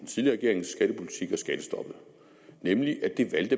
skattestoppet nemlig at det